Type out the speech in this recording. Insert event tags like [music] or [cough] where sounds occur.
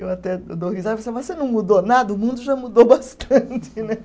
Eu até eu dou risada, mas você não mudou nada, o mundo já mudou bastante né. [laughs]